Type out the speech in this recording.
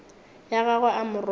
ya gagwe a mo robatša